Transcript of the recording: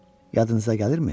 Yadınıza gəlirmi?